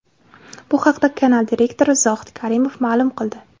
Bu haqda kanal direktori Zohid Karimov ma’lum qildi.